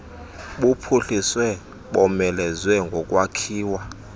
buphuhliswe bomelezwe ngokwakhiwa